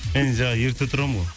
енді жаңа ерте тұрамын ғой